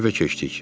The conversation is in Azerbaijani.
Evə keçdik.